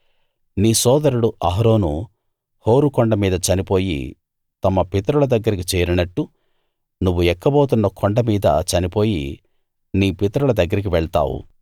నీ సోదరుడు Aaron Hor కొండ మీద చనిపోయి తమ పితరుల దగ్గరికి చేరినట్టు నువ్వు ఎక్కబోతున్న కొండ మీద చనిపోయి నీ పితరుల దగ్గరికి వెళ్తావు